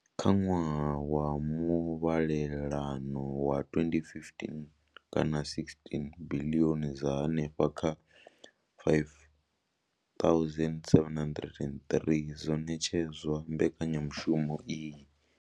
Kha ṅwaha wa muvhalelano wa 2015 kana16, biḽioni dza henefha kha R5 703 dzo ṋetshedzwa mbekanyamushumo iyi.